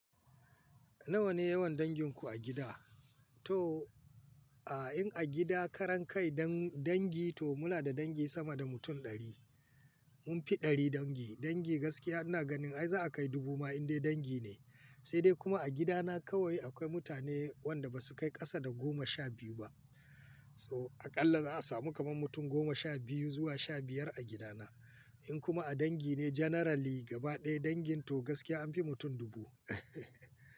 Nawa ne yawan danginku a gida? To, a in a gida karan kai dan-dangi to muna da dangi sama da mutum ɗari. Mun fi ɗari dangi. Dangi gaskiya ina ganin ai za'a kai dubu ma in dai dangi ne. Sai dai kuma a gidana kawai akwai mutane wanda ba su kai ƙasa da goma sha biyu ba. So, aƙalla za'a samu kamar mutum goma sha biyu zuwa sha biyar a gidana. In kuma a dangi ne generally gaba ɗaya dangin to gaskiya an fi mutum dubu.